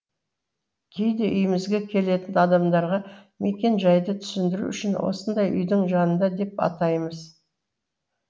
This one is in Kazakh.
кейде үйімізге келетін адамдарға мекенжайды түсіндіру үшін осындай үйдің жанында деп атаймыз